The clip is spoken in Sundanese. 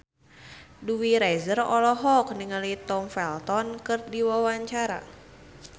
Dewi Rezer olohok ningali Tom Felton keur diwawancara